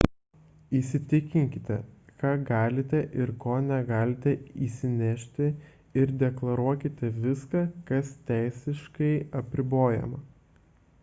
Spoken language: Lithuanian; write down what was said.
įsitikinkite ką galite ir ko negalite įsinešti ir deklaruokite viską kas teisiškai apribojama